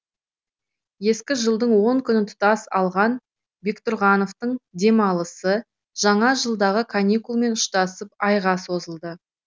ескі жылдың он күнін тұтас алған бектұрғановтың демалысы жаңа жылдағы каникулмен ұштасып айға созылды